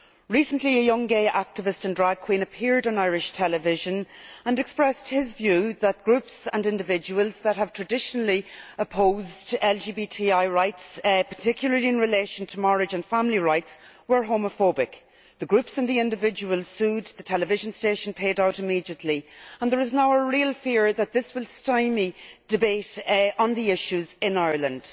Recently a young gay activist and drag queen appeared on Irish television and expressed his view that groups and individuals that have traditionally opposed LGBTI rights, particularly in relation to marriage and family rights, were homophobic. The groups and the individuals sued, the television station paid out immediately, and there is now a real fear that this will stymie debate on the issues in Ireland.